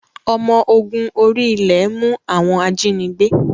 Ọmọ ogun orí-ilẹ̀ mú àwọn ajínigbé